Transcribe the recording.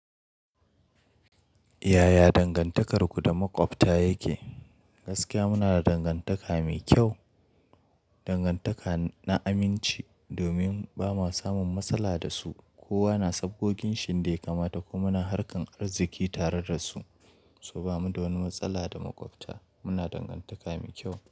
Yaya dangantakarku da maƙwabta yake? Gaskiya muna da dangantaka mai kyau, dangantaka na aminci. Domin ba ma samun matsala da su, kowa na sabgoginshi yadda ya kamata kuma muna harkan arziki tare da su. To bamuda wani matsala da maƙwabta muna dangantaka mai kyau.